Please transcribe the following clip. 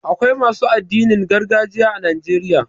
Akwai masu addinin gargajiya a Najeriya.